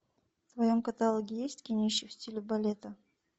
в твоем каталоге есть кинище в стиле балета